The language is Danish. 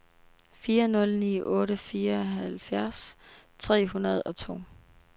fire nul ni otte fireoghalvfjerds tre hundrede og to